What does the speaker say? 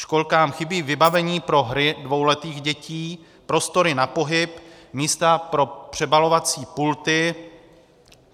Školkám chybí vybavení pro hry dvouletých dětí, prostory na pohyb, místa pro přebalovací pulty.